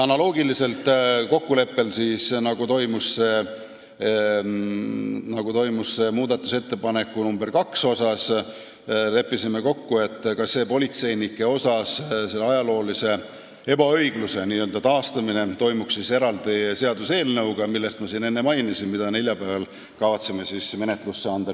Analoogiliselt kokkuleppega, mis sõlmiti muudatusettepaneku nr 2 asjus, leppisime kokku, et ka politseinike puhul toimuks selle ebaõigluse kaotamine eraldi seaduseelnõuga, mida ma siin enne mainisin ja mille me neljapäeval kavatseme Riigikogu menetlusse anda.